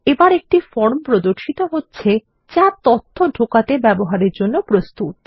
এবর একটি ফর্ম প্রর্দশিত হচ্ছে যা তথ্য ঢোকাতে ব্যবহারের জন্য প্রস্তুত